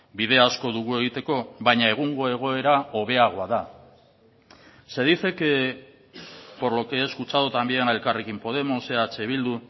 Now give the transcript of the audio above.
bide asko dugu egiteko baina egungo egoera hobeagoa da se dice que por lo que he escuchado también a elkarrekin podemos eh bildu